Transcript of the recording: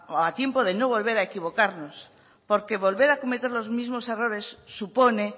a tiempo de no volver a equivocarnos porque volver a cometer los mismos errores supone